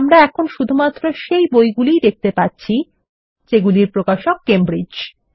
আমরা শুধুমাত্র ঐ বইগুলি ই দেখতে পাচ্ছি যেগুলির প্রকাশক কেমব্রিজ